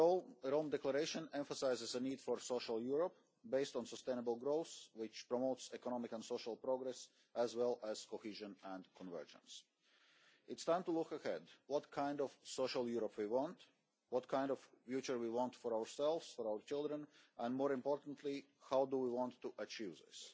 The Rome Declaration emphasises the need for a social Europe, based on sustainable growth which promotes economic and social progress, as well as cohesion and convergence. It is time to look ahead at what kind of social Europe we want, what kind of future we want for ourselves, for our children and, more importantly, how we want to achieve this.